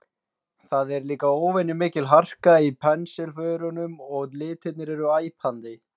Það er líka óvenju mikil harka í pensilförunum og litirnir eru æpandi.